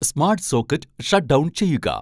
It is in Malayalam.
സ്മാട്ട് സോക്കറ്റ് ഷട്ട്ഡൗൺ ചെയ്യുക